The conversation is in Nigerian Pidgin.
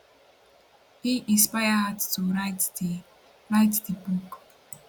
im inspire her to write di write di book